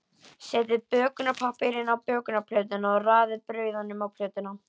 Setjið bökunarpappír á bökunarplötu og raðið brauðunum á plötuna.